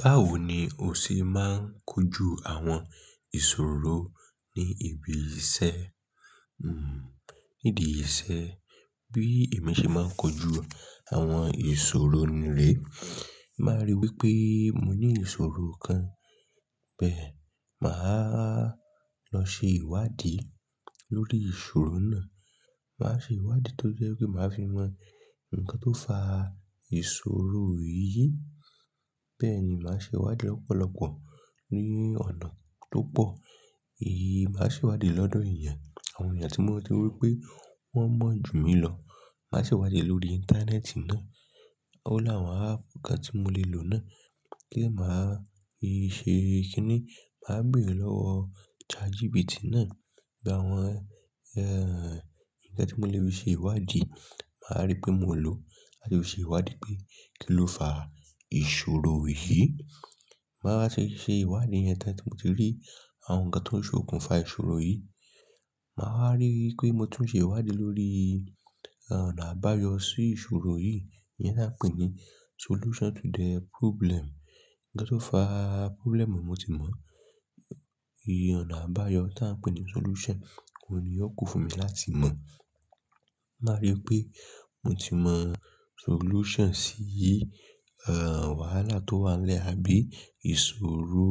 Báwo ni o ṣe máa ń kojú àwọn ìṣòro ní ibi iṣẹ́? Hmm nídi iṣẹ́ bí èmi ṣe máa ń kojú àwọn ìṣòro mi rè, báa rí wípé mo ní ìṣòro kan, bẹ́ẹ̀ máa lọ ṣe ìwádìí lórí ìṣòro náà. Màá ṣe ìwádìí tó jẹ́ pé màá fi mọ ǹkan tó fa ìṣòro yìí. Bẹ́ẹ̀ ni màá ṣe ìwádìí lọ́pọ̀lọpọ̀ ní ọ̀nà tó pọ̀. Èyí máa ṣe ìwádìí lọ́dọ̀ ènìyàn, àwọn ènìyàn tí mo mọ̀ tí mo rí wípé wọ́n mọ̀ jù mí lọ. Màá ṣe ìwádìí lórí íńtánẹ́ẹ̀tì náà. Ó láwọn ápù kà tí mo lè lò náà kí è máa ṣe kí ni? Màá béèrè lọ́wọ́ ChatGPT náà gba àwọn, ẹ́ẹ̀, ǹkan tí mo lè fi ṣe ìwádìí, màá rí pé mo lò láti ṣe ìwádìí pé kí ló fa ìṣòro yìí. Màá wa ṣe ṣe ìwádìí ẹ̀yẹn tán tí mo ti rí àwọn ǹkan tó ń ṣe òkun fa ìṣòro yìí. Màá wa rí pé mo tún ṣe ìwádìí lórí ọ̀nà àbáyọ sí ìṣòro yìí, ìyẹn náà pé ní solution to the problem. Ǹkan tó fa problem mo ti mọ̀, iye ọ̀nà àbáyọ tí à ń pè ní solution kò ni yóò kún fún mi láti mọ̀. Màá rí pé mo ti mọ solution sí, ẹ́ẹ̀, wàhálà tó wà nlẹ́ àbí ìṣòro.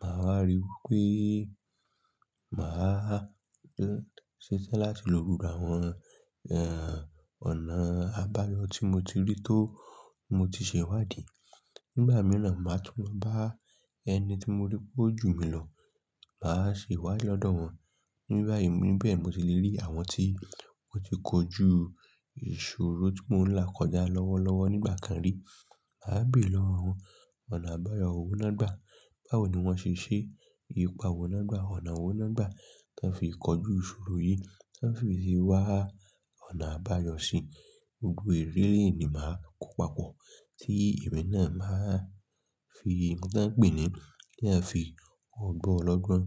Màá rí wípé màá ṣetán láti lò gbogbo àwọn, ẹ́ẹ̀, ọ̀nà àbáyọ tí mo ti rí tó mo ti ṣe ìwádìí. Nígbà mìíràn màá tún bá ẹni tí mo rí pé ó jù mí lọ màá ṣe ìwádìí lọ́dọ̀ wọn. Nígbà yìí, níbẹ̀ mo ti lè rí àwọn tí wọ́n ti kojú ìṣòro tí mò ń là kọjá lọ́wọ́ lọ́wọ́ nígbà kan rí. Màá béèrè lọ́wọ́ àwọn ọ̀nà àbáyọ wọ́n lágbà. Báwo ni wọ́n ṣe ṣe é? Ipá wo nágbà? Ọ̀nà wo nágbà tí wọ́n fi kojú ìṣòro yìí tí wọ́n fi sì wá ọ̀nà àbáyọ sí i? Gbogbo ìrírí yì ni màá kó papọ̀ tí èmi náà màá fi ǹkan pé ni kí eyàń fi ọgbọ́n lọ́gbọ́n,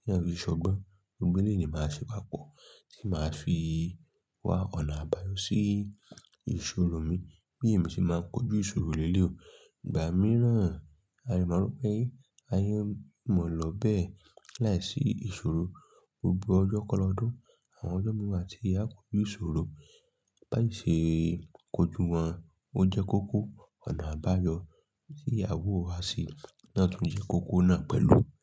kí eyàń fi ṣọgbọ́n. Gbogbo èléyi ni màá ṣe papọ̀ tí màá fi wá ọ̀nà àbáyọ sí ìṣòro mi. Bí èmi ṣe máa ń kojú ìṣòro lé léi o. Ìgbà mìíràn a dè mọ̀ wípé ayé óò mọ̀ lọ́ bẹ láìsí ìṣòro. Gbogbo ọjọ́ kan lọ́dún àwọn ọjọ́ mi wà tí áo kòju ìṣòro. Bí á ṣe kojú wọn, ó jẹ́ kókó. Ọ̀nà àbáyọ tí aàwó wa ṣe náà tún jẹ́ kókó náà pẹ̀lú.